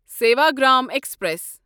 Sevagram express